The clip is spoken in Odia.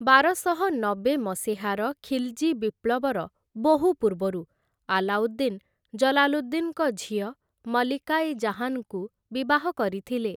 ବାରଶହ ନବେ ମସିହାର ଖିଲ୍‌ଜୀ ବିପ୍ଳବର ବହୁ ପୂର୍ବରୁ ଆଲାଉଦ୍ଦିନ୍ ଜଲାଲୁଦ୍ଦିନ୍‌ଙ୍କ ଝିଅ ମଲ୍ଲିକା ଇ ଜାହାନ୍‌ଙ୍କୁ ବିବାହ କରିଥିଲେ ।